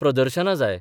प्रदर्शनां जाय.